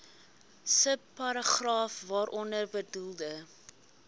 subparagraaf waaronder bedoelde